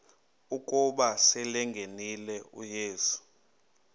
ukuba selengenile uyesu